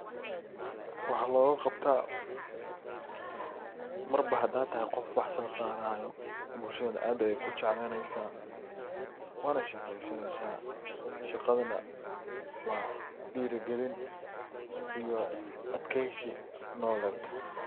Waxa loga qabta marba hada tahay qof wax so saarayo, bulshada aad ayey ku jeclanesa waana shaqeysanesa. Shaqadana waa dhira gelin iyo adkeysi nololed.